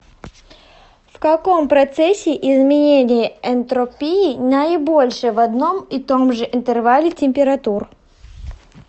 в каком процессе изменение энтропии наибольшее в одном и том же интервале температур